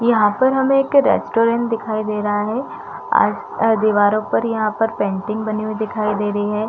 यहाँ पर हमें एक रेस्टोरेंट दिखाई दे रहा है आ अ दीवारों पर यहाँ पर पेंटिंग बनी हुई दिखायी दे रही है।